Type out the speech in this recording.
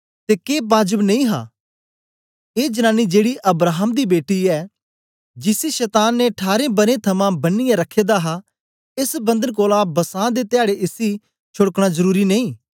ते के बाजब नेई हा के ए जनानी जेड़ी अब्राहम दी बेटी ऐ जिसी शतान ने ठारें बरें थमां बनियै रखे दा हा एस बंधन कोलां बसां दे धयाडे़ इसी छोड़कना जरुरी नेई